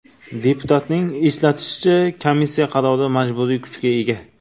Deputatning eslatishicha, komissiya qarori majburiy kuchga ega.